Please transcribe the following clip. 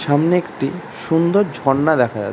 সামনে একটি সুন্দর ঝর্ণা দেখা যাচ্ছে।